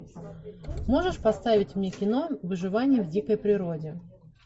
можешь поставить мне кино выживание в дикой природе